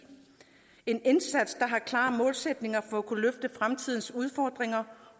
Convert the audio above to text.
en indsats der har klare målsætninger om at kunne løfte fremtidens udfordringer